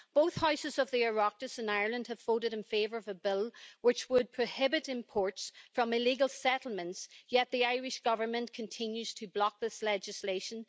Both houses of the Oireachtas is Ireland have voted in favour of a bill which would prohibit imports from illegal settlements, yet the Irish government continues to block this legislation.